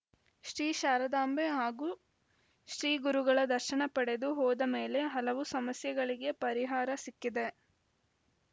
ಶ್ರೀ ಶಾರದಾಂಬೆ ಹಾಗೂ ಶ್ರೀಗುರುಗಳ ದರ್ಶನ ಪಡೆದು ಹೋದ ಮೇಲೆ ಹಲವು ಸಮಸ್ಯೆಗಳಿಗೆ ಪರಿಹಾರ ಸಿಕ್ಕಿದೆ